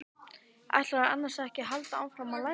Ætlarðu annars ekki að halda áfram að læra?